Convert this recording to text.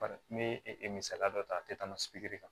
ne e misaliya dɔ ta a tɛ tɛmɛ kan